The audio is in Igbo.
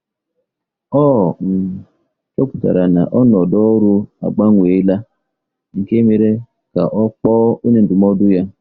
Ọ um chọpụtara na ọnọdụ ọrụ agbanweela, nke mere ka ọ kpọọ onye ndụmọdụ ya.